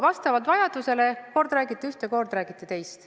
Vastavalt vajadusele te kord räägite ühte, kord räägite teist.